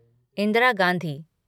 Indira Gandhi